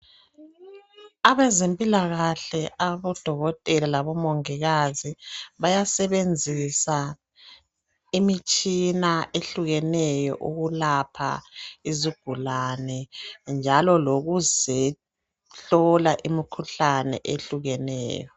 Abezempilakahle abodokotela labomongikazi bayasebenzisa imitshina ehlukeneyo ukulapha izigulane njalo lokuzehlola imikhuhlane ehlukeneyo.